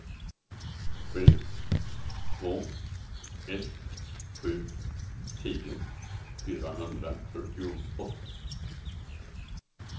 sju två ett sju tio fyrahundrafyrtioåtta